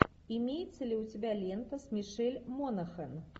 имеется ли у тебя лента с мишель монахэн